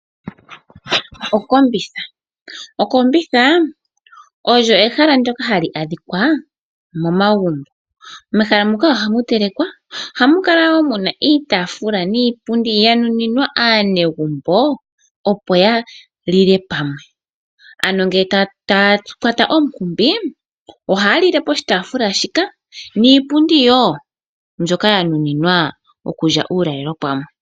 Okombitha! Okombithaa olyo ehala ndyoka hali adhika momagumbo. Mehala muka ohamu telekwa, ohamu kala woo muna iitafula niipundi yanuninwa aanagembo opo ya lile pamwe, ano ngele taya kwata omunkumbi, ohaya lile poshitafula shika, niipundi yoo mbyoka ya nuninwa okulya uulalelo pamwe.